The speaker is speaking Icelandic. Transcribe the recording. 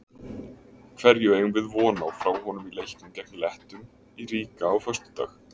Hverju eigum við von á frá honum í leiknum gegn Lettum í Riga á föstudag?